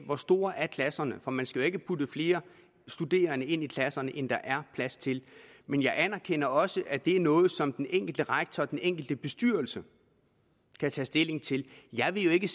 hvor store klasserne er for man skal jo ikke putte flere studerende ind i klasserne end der er plads til men jeg anerkender også at det er noget som den enkelte rektor og den enkelte bestyrelse kan tage stilling til jeg vil jo ikke